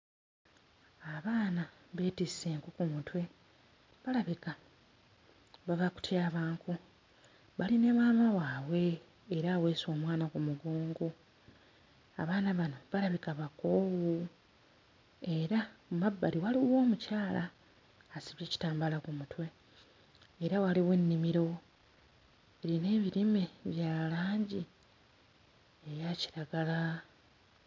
Abaana beetisse enku ku mutwe, balabika bava kutyaba nku. Bali ne maama waabwe era aweese omwana ku mugongo. Abaana bano balabika bakoowu era mu mabbali waliwo omukyala asibye ekitambaala ku mutwe era waliwo ennimiro erina ebirime bya langi eya kiragala.